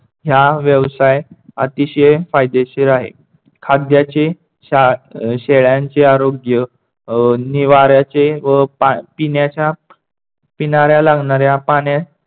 ह्या व्यवसाय अतिशय फायदेशीर आहे. खाद्याचे अह शेळ्यांचे आरोग्य अह निवाऱ्याचे व पिण्याच्या पिणाऱ्या लागणाऱ्या पाण्यात